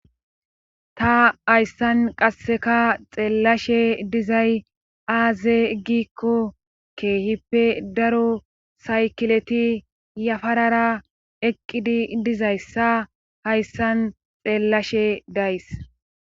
ta hayssan qasseka xeellashe dizay aaze giikko keehippe daro saykileti yafarara eqqidi dizayssa hayssan xeellashe days